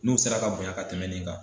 N'u sera ka bonyan ka tɛmɛn nin kan.